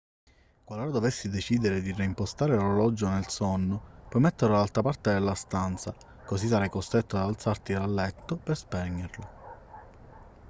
qualora dovessi decidere di reimpostare l'orologio nel sonno puoi metterlo dall'altra parte della stanza così sarai costretto ad alzarti dal letto per spegnerlo